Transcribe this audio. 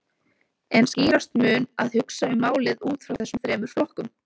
En skýrast mun að hugsa um málið út frá þessum þremur flokkum.